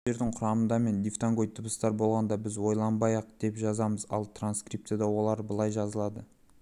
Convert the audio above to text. сөздердің құрамында мен дифтонгоид дыбыстар болғанда біз ойланбай-ақ деп жазамыз ал транскрипцияда олар былай жазылады